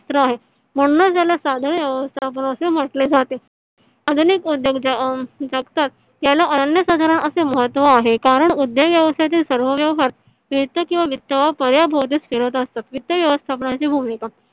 म्हणूनच याला साधारण व्यवस्थापन असे म्हटले जाते . अजून एक उद्योग त्याला अनन्य साधारण असे महत्व आहे कारण ज्या व्यवसायाचे सर्व व्यवहार वित्त किवा वित्त वापर या भोवतीच फिरत असतात. वित्त व्यवस्थापन ची भूमिका